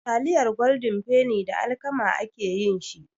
Taliyar Goldin feni da alkama ake yin shi.